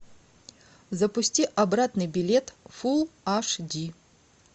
запусти обратный билет фул аш ди